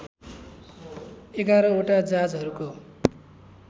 ११ वटा जहाजहरूको